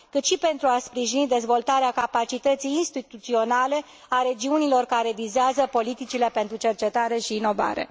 și să sprijine dezvoltarea capacității instituționale a regiunilor care vizează politicile pentru cercetare și inovare.